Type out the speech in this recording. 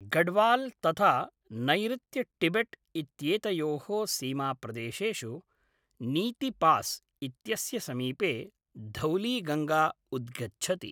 गढ़वाल् तथा नैरृत्यटिबेट् इत्येतयोः सीमाप्रदेशेषु नीतिपास् इत्यस्य समीपे धौलीगङ्गा उद्गच्छति।